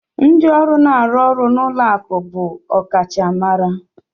Ndị ọrụ na-arụ ọrụ n'ụlọ akụ̀ bụ ọkachamara.